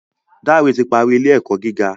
Dare ti parí ilé-ẹkọ gíga